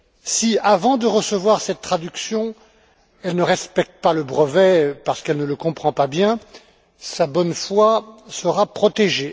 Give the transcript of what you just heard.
Si, avant de recevoir cette traduction, elle ne respecte pas le brevet parce qu'elle ne le comprend pas bien, sa bonne foi sera protégée.